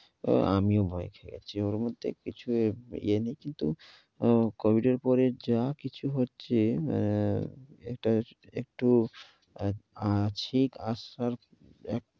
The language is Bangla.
ও আমিও ভয় খেয়ে গেছি। ওর মধ্যে কিছু ইয়ে নেই কিন্তু ও covid এর পরে যা কিছু হচ্ছে, অ্যা এটা একটু কাশি আসার এক~